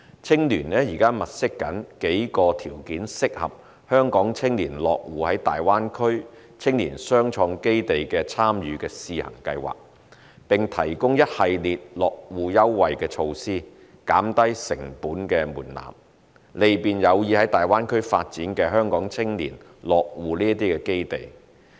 青聯現正物色數個條件適合香港青年落戶的大灣區青年雙創基地參與試行計劃，並提供一系列落戶優惠措施，降低成本門檻，利便有意在大灣區發展的香港青年落戶這些基地。